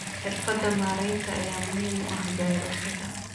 Xirfadaha maareynta ayaa muhiim u ah beerashada.